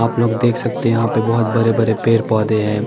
आप लोग देख सकते है यहा पे बोहोत बड़े बड़े पेड़ पोधे है ।